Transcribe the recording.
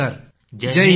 धन्यवाद धन्यवाद